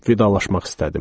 Vidalaşmaq istədim.